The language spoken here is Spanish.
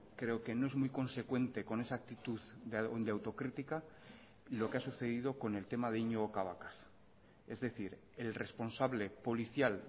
creo que no es muy consecuente con esa actitud de autocrítica lo que ha sucedido con el tema de iñigo cabacas es decir el responsable policial